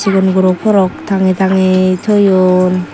sigon guro frock tange tange toyon.